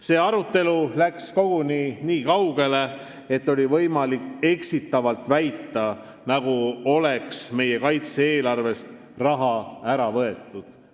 See arutelu läks koguni nii kaugele, et oli võimalik eksitavalt väita, nagu oleks meie kaitse-eelarvest raha ära võetud.